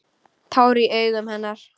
Tár í augum hennar.